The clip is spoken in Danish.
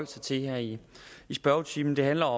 sig til her i i spørgetimen det handler